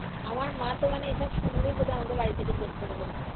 আমার মা তো মানে এইসব শুনলেই বোধহয় আমাকে বাড়ি থেকে বের করে দেবে।